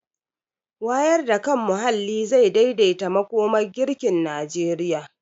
Wayar da kan muhalli zai daidaita makomar girkin Najeriya.